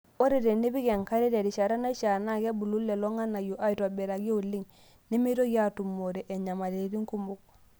Ore tenepiki enkare terishata naishaa, naa kebulu lelo ng'anayio aaitobiraki oleng , nemeitoki aatumore nyamalitin kumok.